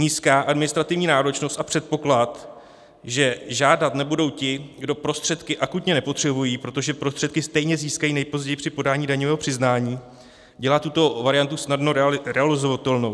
Nízká administrativní náročnost a předpoklad, že žádat nebudou ti, kdo prostředky akutně nepotřebují, protože prostředky stejně získají nejpozději při podání daňového přiznání, dělá tuto variantu snadno realizovatelnou.